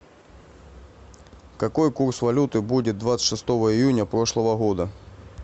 какой курс валюты будет двадцать шестого июня прошлого года